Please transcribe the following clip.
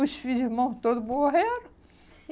Os filhos, irmãos todos morreram.